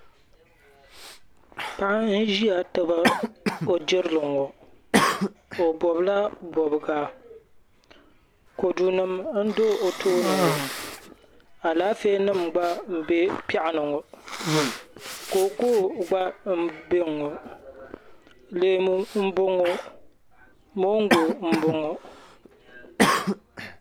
Paɣa n ʒiya tabi o jirili ŋɔ o bobla bobga kodu nima n do o tooni ŋɔ alaafee nima gba m be piaɣu ni ŋɔ kookoo gba m boŋɔ leemu m boŋɔ moongu mboŋɔ.